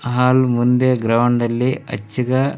ಹಾಲ್ ಮುಂದೆ ಗ್ರೌಂಡ್ ಅಲ್ಲಿ ಅಚ್ಚಿಗ--